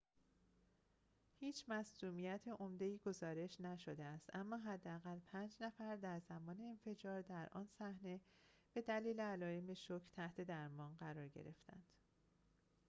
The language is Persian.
هیچ مصدومیت عمده ای گزارش نشده است اما حداقل پنج نفر در زمان انفجار در آن صحنه به دلیل علائم شوک تحت درمان قرار گرفتند